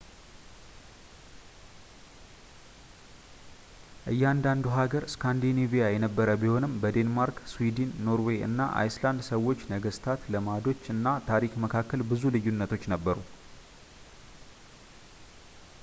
እያንዳንዱ ሃገር ስካንዲኔቪያዊ የነበረ ቢሆንም በዴንማርክ ስዊድን ኖርዌይ እና አይስላንድ ሰዎች ነገስታት ልማዶች እና ታሪክ መካከል ብዙ ልዩነቶች ነበሩ